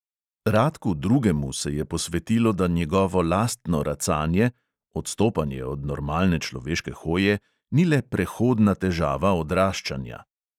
Radku drugemu se je posvetilo, da njegovo lastno racanje (odstopanje od normalne človeške hoje) ni le prehodna težava odraščanja.